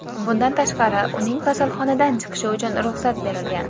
Bundan tashqari, uning kasalxonadan chiqishi uchun ruxsat berilgan.